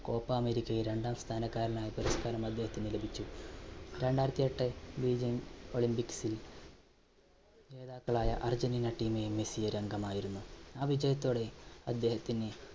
Copa അമേരിക്കയിൽ രണ്ടാം സ്ഥാനക്കാരനായി പുരസ്കാരം അദ്ദേഹത്തിന് ലഭിച്ചു. രണ്ടായിരത്തിഎട്ട് ബീജിങ് olympics ൽ ജേതാക്കളായ അർജൻറീന team ൽ മെസ്സി ഒരു അംഗമായിരുന്നു. ആ വിജയത്തോടെ അദ്ദേഹത്തിന്